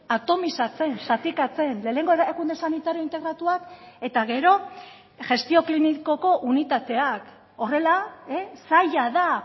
atomizatzen zatikatzen lehenengo erakunde sanitario integratuak eta gero gestio klinikoko unitateak horrela zaila da